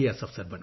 S